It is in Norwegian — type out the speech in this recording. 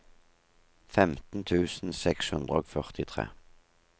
femten tusen seks hundre og førtitre